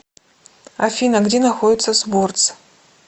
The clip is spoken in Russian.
афина где находится сборц